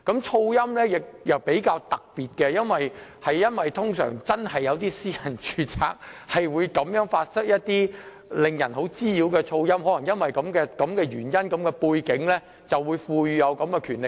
噪音方面的處理亦比較特別，因為真有些私人住宅會發出甚為滋擾的噪音，可能基於這個原因和背景，所以法例賦予這種權力。